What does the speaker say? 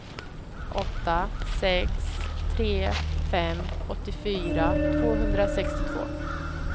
åtta sex tre fem åttiofyra tvåhundrasextiotvå